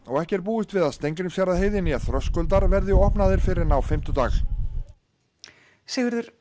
ekki er búist við að Steingrímsfjarðarheiði né þröskuldar verði verði opnaðir fyrr en á fimmtudag Sigurður